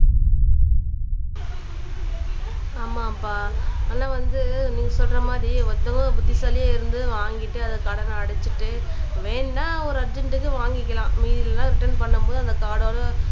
ஆமாம்ப்பா ஆனா வந்து நீ சொல்ற மாதிரி ஒருத்தவங்க புத்திசாலியா இருந்து வாங்கிட்டு அதை கடன அடைச்சிட்டு வேணும்ன்னா ஒரு அர்ஜென்ட்க்கு வாங்கிக்கலாம் ரிட்டர்ன் பண்ணும் போது அந்த கார்டோட